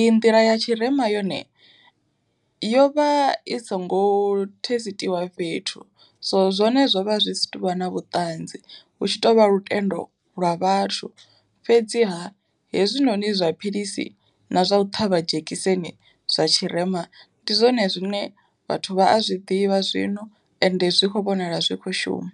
iyi nḓila ya tshirema yone yo vha i songo thesitiwa fhethu, so zwone zwo vha zwi si tuvha na vhuṱanzi hu tshi tovha lutendo lwa vhathu, fhedziha hezwinoni zwa philisi na zwa u ṱhavha dzhekiseni zwa tshirema ndi zwone zwine vhathu vha a zwiḓivha zwino ende zwi kho vhonala zwi kho shuma.